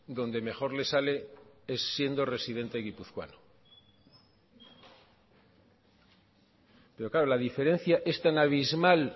donde mejor les sale es siendo residente guipuzcoano pero claro la diferencia es tan abismal